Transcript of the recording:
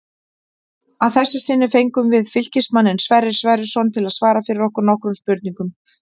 Að þessu sinni fengum við Fylkismanninn Sverrir Sverrisson til að svara fyrir okkur nokkrum spurningum.